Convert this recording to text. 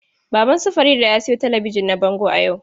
Baban su Farida ya sayo talabijin na bango yau.